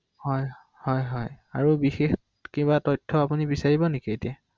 অ অ